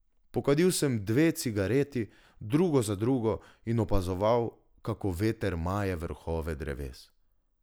Pokadil sem dve cigareti drugo za drugo in opazoval, kako veter maje vrhove dreves.